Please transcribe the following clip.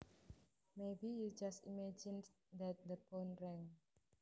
Maybe you just imagined that the phone rang